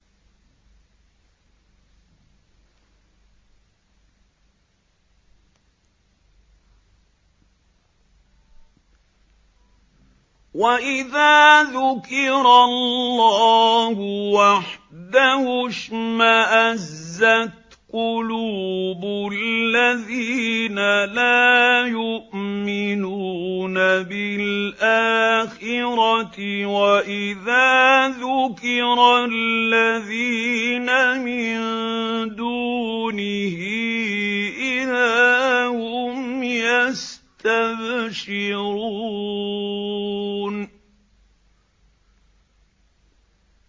وَإِذَا ذُكِرَ اللَّهُ وَحْدَهُ اشْمَأَزَّتْ قُلُوبُ الَّذِينَ لَا يُؤْمِنُونَ بِالْآخِرَةِ ۖ وَإِذَا ذُكِرَ الَّذِينَ مِن دُونِهِ إِذَا هُمْ يَسْتَبْشِرُونَ